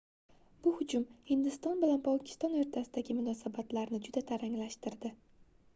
bu hujum hindiston bilan pokiston oʻrtasidagi munosanatlarni juda taranglashtirdi